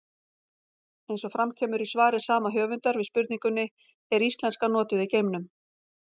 Eins og fram kemur í svari sama höfundar við spurningunni Er íslenska notuð í geimnum?